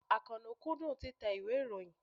Àkànó kúndùn títẹ ìwé ìròyìn.